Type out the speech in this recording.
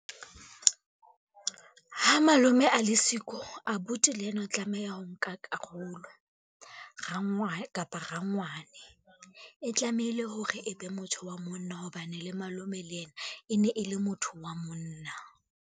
Ha malome a le siko, abuti le ena o tlameha ho nka karolo, kapa rangwane. E tlamehile hore e be motho wa monna, hobane le malome le ena, e ne e le motho wa monna.